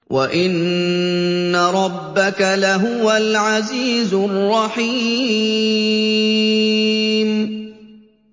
وَإِنَّ رَبَّكَ لَهُوَ الْعَزِيزُ الرَّحِيمُ